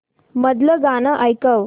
मधलं गाणं ऐकव